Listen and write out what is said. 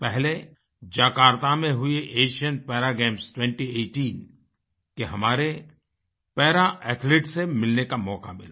पहले जकार्ता में हुईAsian पारा गेम्स 2018 के हमारे पारा एथलीट्स से मिलने का मौका मिला